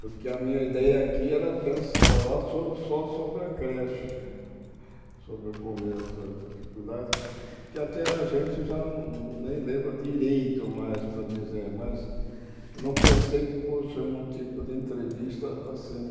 Porque a minha ideia aqui era pen falar sobre só sobre a creche, sobre o começo, a dificuldade, que até a gente já nem lembra direito mais para dizer, mas não pensei que fosse um tipo de entrevista assim.